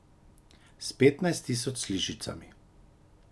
S petnajst tisoč sličicami.